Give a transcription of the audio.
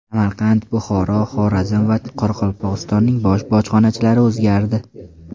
Samarqand, Buxoro, Xorazm va Qoraqalpog‘istonning bosh bojxonachilari o‘zgardi.